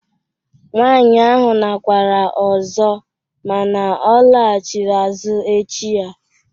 Nwaanyị ahụ nakwara ọzọ mana ọ laghachitere echi ya